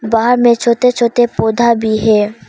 बाहर में छोटे छोटे पौधा भी है।